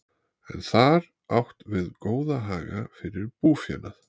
Er þar átt við góða haga fyrir búfénað.